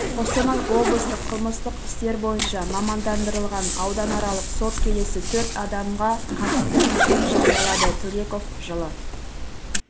қостанай облыстық қылмыстық істер бойынша мамандандырылған ауданаралық сот келесі төрт адамға қатысты үкім жариялады төлеков жылы